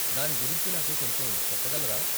దాని గురించి నాకు కొంచెం చెప్పగలరా?